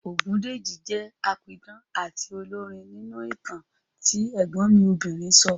Ògúndìji jẹ́ apidán àti olórin nínú ìtàn tí ẹ̀gbọ́n mi obìnrin sọ